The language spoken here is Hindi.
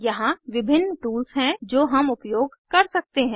यहाँ विभिन्न टूल्स हैं जो हम उपयोग कर सकते हैं